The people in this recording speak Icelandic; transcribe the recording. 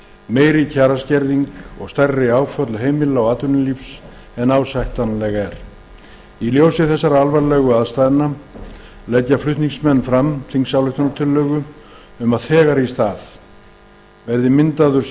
meiri kjaraskerðing og stærri áföll heimila og atvinnulífs en ásættanlegt er í ljósi þessara alvarlegu aðstæðna leggja flutningsmenn fram þingsályktunartillögu um að þegar í stað verði myndaður